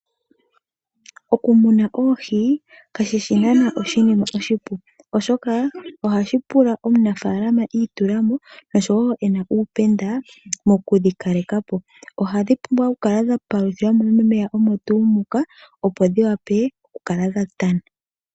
Okumuna oohi kashi shi naanaa oshinima oshipu, oshoka ohashi pula omunafaalama i itula mo nosho wo e na uupenda mokudhi kaleka po. Ohadhi pumbwa okukala dha paluthilwa mo momeya omo tuu muka, opo dhi wape okukala dha tana.